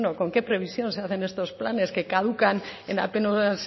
con qué previsión se hacen estos planes que caducan en apenas